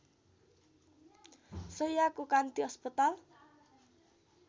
शैय्याको कान्ति अस्पताल